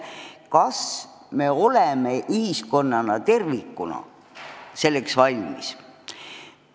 Kas me oleme ühiskonnana tervikuna selleks valmis?